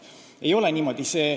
See ei ole niimoodi.